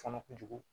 Kɔnɔ kojugu